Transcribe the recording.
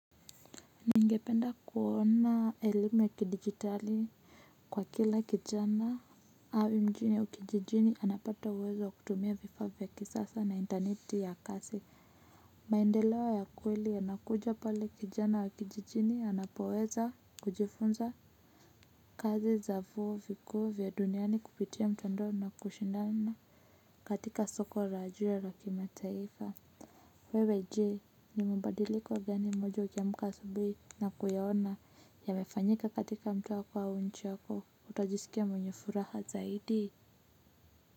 Ningependa kuona elimu ya kidigitali kwa kila kijana awe mjini au kijijini anapata uwezo kutumia vifaa vya kisasa na interneti ya kasi. Maendeleo ya kweli yanakuja pale kijana wa kijijini anapoweza kujifunza kazi za vyuo vikuu vya duniani kupitia mtandao na kushindana katika soko la juu la kimataifa. Wewe jee ni mabadiliko gani moja ukiamka asubui na kuyaona yamefanyika katika mtaa wako au nchi yako utajisikia mwenye furaha zaidi.